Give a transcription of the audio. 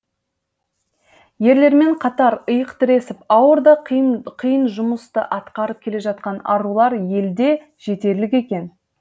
ерлермен қатар иық тіресіп ауыр да қиын жұмысты атқарып келе жатқан арулар елде жетерлік екен